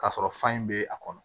K'a sɔrɔ fa in bɛ a kɔnɔ